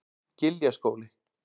Giljaskóli